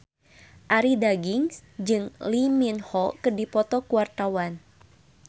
Arie Daginks jeung Lee Min Ho keur dipoto ku wartawan